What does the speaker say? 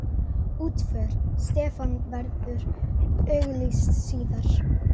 Útför Stefán verður auglýst síðar.